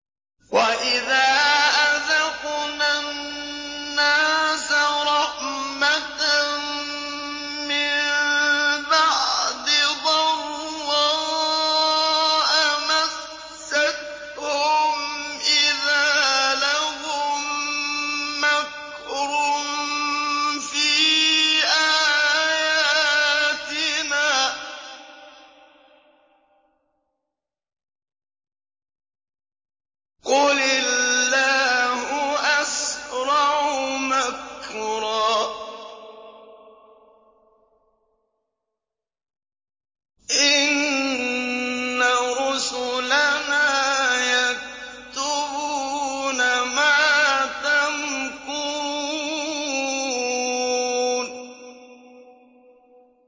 وَإِذَا أَذَقْنَا النَّاسَ رَحْمَةً مِّن بَعْدِ ضَرَّاءَ مَسَّتْهُمْ إِذَا لَهُم مَّكْرٌ فِي آيَاتِنَا ۚ قُلِ اللَّهُ أَسْرَعُ مَكْرًا ۚ إِنَّ رُسُلَنَا يَكْتُبُونَ مَا تَمْكُرُونَ